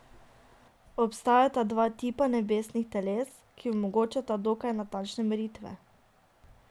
Obstajata dva tipa nebesnih teles, ki omogočata dokaj natančne meritve.